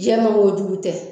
Jɛman o jugu tɛ.